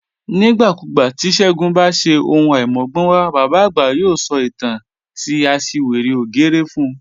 Nigbakugba ti Segun ba ṣe ohun aimọgbọnwa, baba agba yoo sọ itan ti aṣiwere ògérè fun